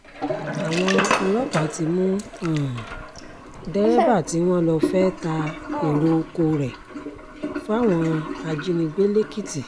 àwọn ọlọ́pàá ti mú um dẹ́rẹ́bà tí wọ́n lọ fẹ́ẹ́ ta èrò um oko rẹ̀ fáwọn ajínigbé lẹ́kìtì